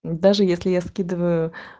даже если я скидываю